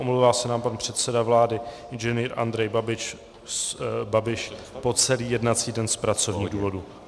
Omlouvá se nám pan předseda vlády Ing. Andrej Babiš po celý jednací den z pracovních důvodů.